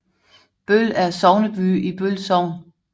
Bøl er sogneby i Bøl Sogn